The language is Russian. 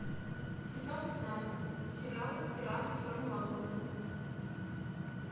сезон пятнадцать сериал пираты черной лагуны